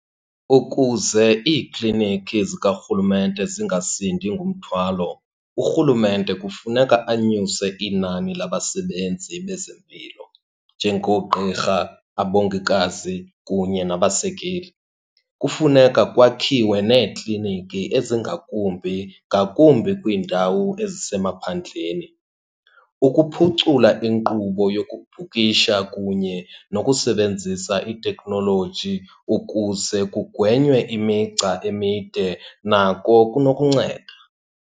Ukuze iikliniki zikarhulumente zingasindi ngumthwalo urhulumente kufuneka anyuse inani labasebenzi bezempilo njengoogqirha, abongikazi, kunye nabasekeli. Kufuneka kwakhiwe neekliniki ezingakumbi, ngakumbi kwiindawo ezisemaphandleni. Ukuphucula inkqubo yokubhukisha kunye nokusebenzisa iitekhnoloji ukuze kugwenywe imigca emide nako kunokunceda.